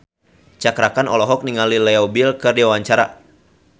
Cakra Khan olohok ningali Leo Bill keur diwawancara